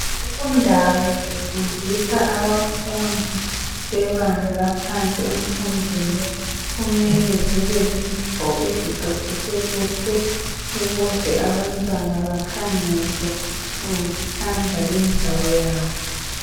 Indawo zifundisa abafundi bebanga laphansi emfundweni, kumele zibe zindawo eziqoqiswe kuhle ukuze abantwana bakhangele ngokuthanda lindawo yabo.